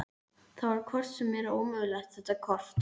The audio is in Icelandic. Það var hvort sem er ómögulegt þetta kort.